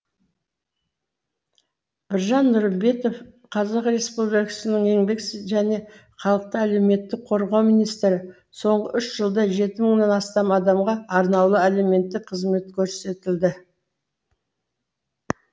біржан нұрымбетов қр еңбек және халықты әлеуметтік қорғау министрі соңғы үш жылда жеті мыңнан астам адамға арнаулы әлеуметтік қызмет көрсетілді